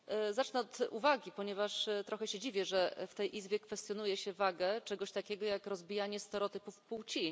Zacznę od uwagi, ponieważ trochę się dziwię, że w tej Izbie kwestionuje się wagę czegoś takiego, jak rozbijanie stereotypów płci.